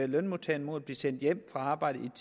lønmodtagerne mod at blive sendt hjem fra arbejdet